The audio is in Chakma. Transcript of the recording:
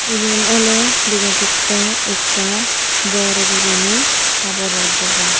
ibin oley dega jatte ekkan bor guriney habor or dugan.